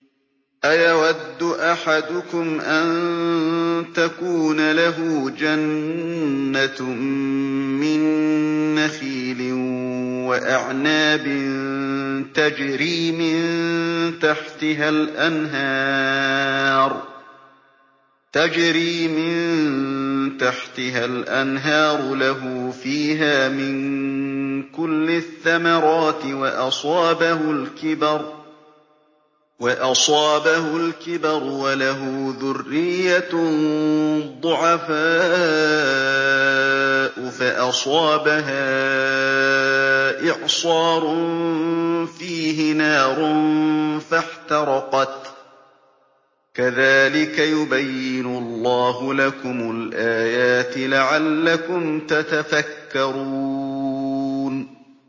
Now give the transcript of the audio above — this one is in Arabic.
أَيَوَدُّ أَحَدُكُمْ أَن تَكُونَ لَهُ جَنَّةٌ مِّن نَّخِيلٍ وَأَعْنَابٍ تَجْرِي مِن تَحْتِهَا الْأَنْهَارُ لَهُ فِيهَا مِن كُلِّ الثَّمَرَاتِ وَأَصَابَهُ الْكِبَرُ وَلَهُ ذُرِّيَّةٌ ضُعَفَاءُ فَأَصَابَهَا إِعْصَارٌ فِيهِ نَارٌ فَاحْتَرَقَتْ ۗ كَذَٰلِكَ يُبَيِّنُ اللَّهُ لَكُمُ الْآيَاتِ لَعَلَّكُمْ تَتَفَكَّرُونَ